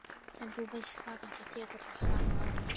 En þú veist hvað þetta tekur allt saman á mig.